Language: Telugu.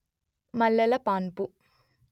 మల్లెల పాన్పు